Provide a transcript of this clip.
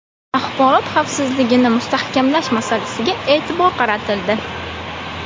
Axborot xavfsizligini mustahkamlash masalasiga e’tibor qaratildi.